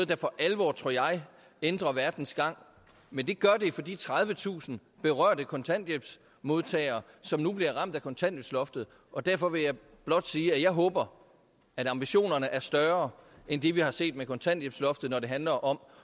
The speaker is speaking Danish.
der for alvor ændrer verdens gang men det gør det for de tredivetusind berørte kontanthjælpsmodtagere som nu bliver ramt af kontanthjælpsloftet og derfor vil jeg blot sige at jeg håber at ambitionerne er større end det vi har set med kontanthjælpsloftet når det handler om